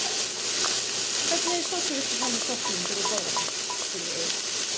Hvernig sósu vildu fá með sokknum þegar þú borðar hann? spurði Egill.